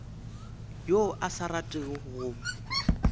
yo a sa ratego go